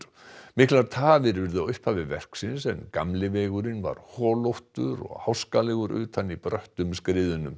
miklar tafir urðu á upphafi verksins en gamli vegurinn var holóttur og háskalegur utan í bröttum skriðunum